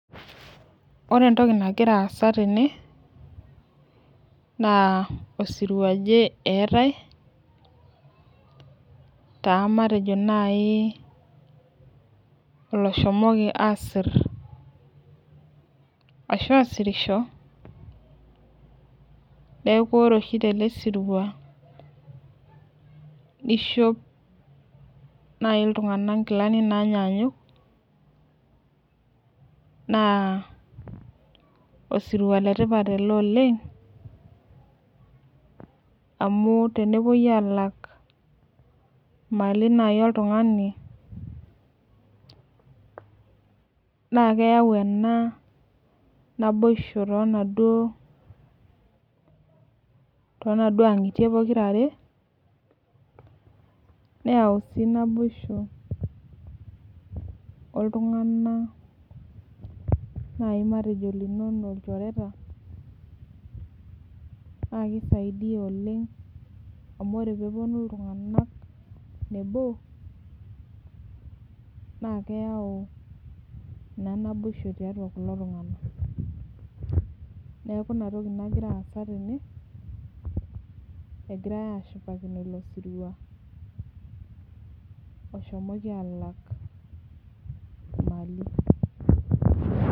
Ore entoki nagira aasa tene naa osirua oje eeta matejo naaji oloshomoki asirr aashu asirisho niaku ore oshi tele sirua neishop naaji ltunganak nkilanik naanyanyuk naa osirua le tipat ele oleng amu tenepuoi alak mali naaji oltungani naa keyau ena naboisho too naduo angitie pokirare neyau sii naboisho oltungani naaji linono matejo lchoreta naa kisaidia oleng amu ore pee epuonu ltungana nebo naa keyau naa naboisho tiatua kulo tunganak niaku ina toki nagira aasa tene egirae ashipakino ilo sirua oshomoki aalak mali